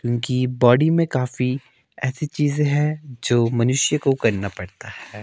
इनकी बॉडी में काफी येसी चीजे हैं जो मनुष्य को करना पड़ता हैं।